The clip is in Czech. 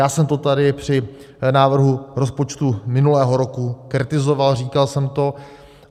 Já jsem to tady při návrhu rozpočtu minulého roku kritizoval, říkal jsem to.